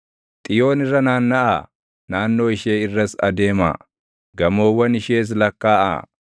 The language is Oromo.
Xiyoon irra naannaʼaa; naannoo ishee irras adeemaa; gamoowwan ishees lakkaaʼaa.